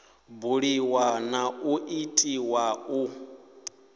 buliwa na u itiwa u